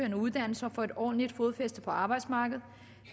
en uddannelse og få et ordentligt fodfæste på arbejdsmarkedet